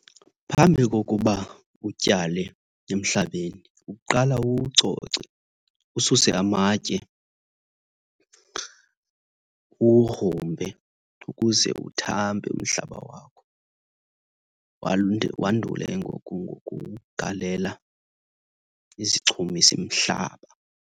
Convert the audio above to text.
Phambi kokuba utyale emhlabeni uqala uwucoce, ususe amatye, uwugrumbe ukuze uthambe umhlaba wakho. Wandule ke ngoku ukuwugalela izichumisimhlaba.